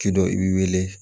K'i dɔ i b'i weele